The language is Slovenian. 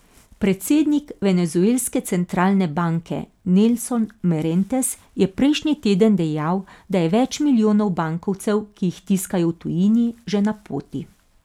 Predsednik venezuelske centralne banke Nelson Merentes je prejšnji teden dejal, da je več milijonov bankovcev, ki jih tiskajo v tujini, že na poti.